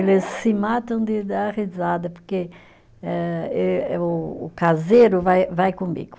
Eles se matam de dar risada, porque eh eh o caseiro vai vai comigo.